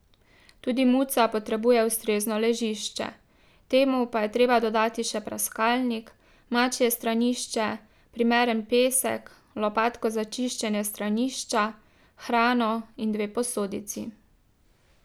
Tudi muca potrebuje ustrezno ležišče, temu pa je treba dodati še praskalnik, mačje stranišče, primeren pesek, lopatko za čiščenje stranišča, hrano in dve posodici.